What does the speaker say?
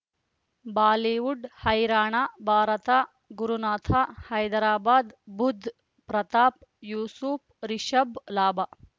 Bollywood ಹೈರಾಣ ಭಾರತ ಗುರುನಾಥ ಹೈದರಾಬಾದ್ ಬುಧ್ ಪ್ರತಾಪ್ ಯೂಸುಫ್ ರಿಷಬ್ ಲಾಭ